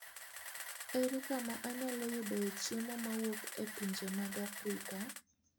Ere kama anyalo yudoe chiemo mowuok e pinje mag Afrika?